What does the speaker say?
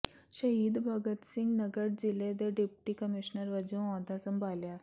ਸ਼ਹੀਦ ਭਗਤ ਸਿੰਘ ਨਗਰ ਜ਼ਿਲ੍ਹੇ ਦੇ ਡਿਪਟੀ ਕਮਿਸ਼ਨਰ ਵਜੋਂ ਅਹੁਦਾ ਸੰਭਾਲਿਆ